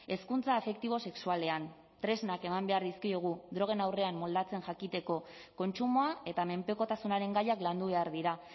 hezkuntza afektibo sexualean tresnak eman behar dizkiegu drogen aurrean moldatzen jakiteko kontsumoa eta menpekotasunaren gaiak landu behar dira